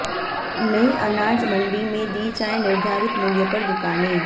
नयी अनाज मंडी में दी जाएं निर्धारित मूल्य पर दुकानें